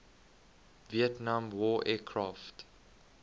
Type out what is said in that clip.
vietnam war aircraft